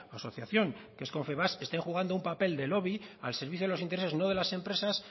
asociación que es confebask esté jugando un papel de lobby al servicio de los intereses no de las empresas